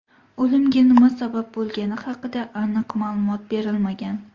O‘limga nima sabab bo‘lgani haqida aniq ma’lumot berilmagan.